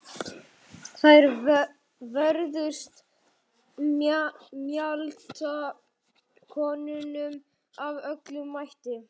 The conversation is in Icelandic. Þær vörðust mjaltakonunum af öllum mætti.